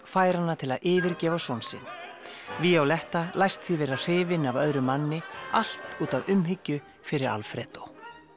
fær hana til að yfirgefa son sinn violetta læst því vera hrifin af öðrum manni allt út af umhyggju fyrir Alfredo